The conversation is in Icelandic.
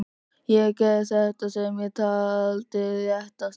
Ég gerði það sem ég taldi réttast.